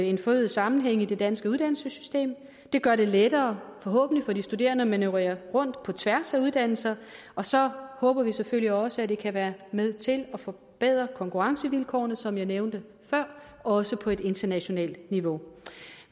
en forøget sammenhæng i det danske uddannelsessystem det gør det lettere forhåbentlig for de studerende at manøvrere rundt på tværs af uddannelser og så håber vi selvfølgelig også at det kan være med til at forbedre konkurrencevilkårene sådan som jeg nævnte det før også på et internationalt niveau